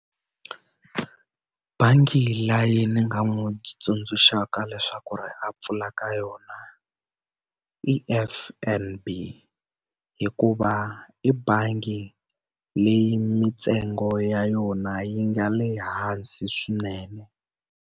Bangi leyi ni nga n'wi tsundzuxaka leswaku ri a pfula ka yona i F_N_B. Hikuva i bangi leyi mintsengo ya yona yi nga le hansi swinene.